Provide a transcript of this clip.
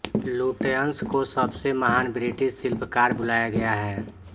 Lutyens को सबसे महान ब्रिटिश शिल्पकार बुलाया गया है